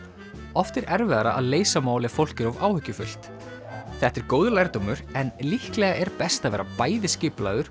oft er erfiðara að leysa mál ef fólk er of áhyggjufullt þetta er góður lærdómur en líklega er best að vera bæði skipulagður